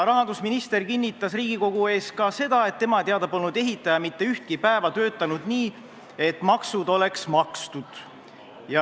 Rahandusminister kinnitas Riigikogu ees ka seda, et tema teada polnud ehitaja mitte ühtki päeva töötanud nii, et maksud oleksid makstud olnud.